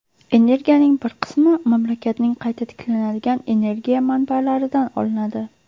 Energiyaning bir qismi mamlakatning qayta tiklanadigan energiya manbalaridan olinadi.